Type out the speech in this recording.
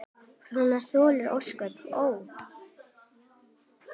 Svona þoli ósköp, ó!